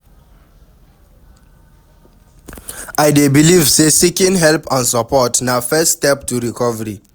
I dey believe say seeking help and support na first step to recovery.